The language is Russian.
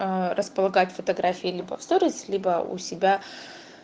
ээ располагать фотографии либо в сторис либо у себя